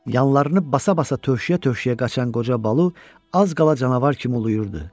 Yanlarını basa-basa tövşüyə-tövşüyə qaçan qoca Balu az qala canavar kimi uluyurdu.